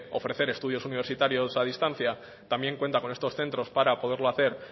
ofrecer estudios universitarios a distancia también cuenta con estos centros para poderlo hacer